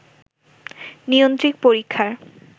নিয়ন্ত্রিত পরীক্ষার